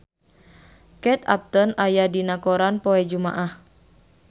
Kate Upton aya dina koran poe Jumaah